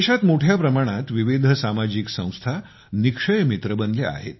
देशात मोठ्या प्रमाणात विविध सामाजिक संस्था निक्षय मित्र बनल्या आहेत